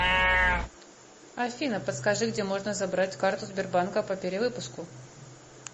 афина подскажи где можно забрать карту сбербанка по перевыпуску